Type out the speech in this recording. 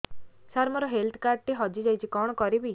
ସାର ମୋର health card ଟି ହଜି ଯାଇଛି କଣ କରିବି